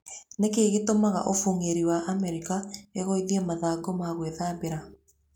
Nĩ kĩĩ gĩtũmaga Ũbũng'ũri wa Amerika ĩgũithie mathangũ ma gwĩthambĩria?